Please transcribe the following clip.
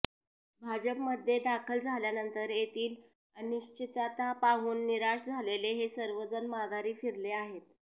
भाजपमध्ये दाखल झाल्यानंतर तेथील अनिश्चितता पाहून निराश झालेले हे सर्वजण माघारी फिरले आहेत